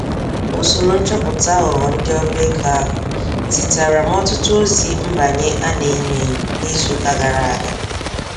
Usoro nchọpụta aghụghọ ndị ọbego ahụ, zitaara m ọtụtụ ozi mbanye a-na-enyo-enyo n'izuka gara aga.